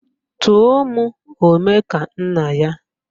Tụọ mụ Omekannaya!